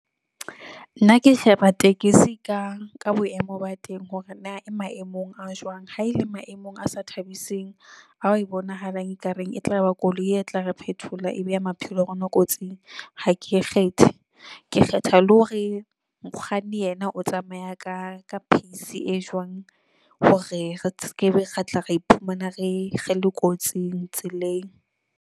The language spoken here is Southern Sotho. Nna ke sheba tekesi ka ka boemo ba teng, hore na e maemong a jwang ha e le maemong a sa thabiseng, ha e bonahalang e kareng e tlaba koloi e tla re phethola e beha maphelo a rona kotsing e ha ke e kgethe. Ke kgetha le hore mokganni yena o tsamaya ka ka pace e jwang hore re skebe ra tla ra iphumana re le kotsing tseleng.